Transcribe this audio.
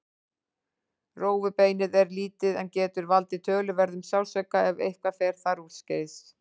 Rófubeinið er lítið en getur valdið töluverðum sársauka ef eitthvað fer þar úrskeiðis.